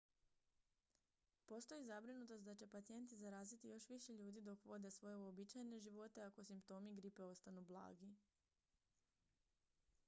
postoji zabrinutost da će pacijenti zaraziti još više ljudi dok vode svoje uobičajene živote ako simptomi gripe ostanu blagi